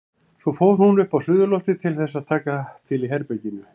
Svo fór hún upp á suðurloftið til þess að taka til í herberginu.